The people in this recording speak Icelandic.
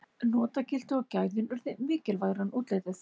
notagildið og gæðin urðu mikilvægara en útlitið